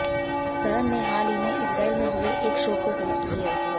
करन ने हाल ही में इजरायल में हुए एक शो को होस्ट किया